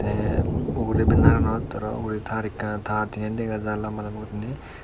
tey ugrey baneraanot aro ugrey taar ekkan taar tinen dega jaai lamba lamba guriney.